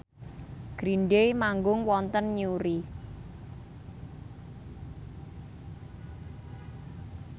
Green Day manggung wonten Newry